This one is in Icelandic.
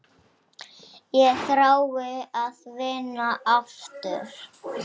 Ég þrái að vinna aftur.